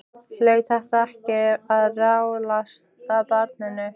Hlaut þetta ekki að rjátlast af barninu?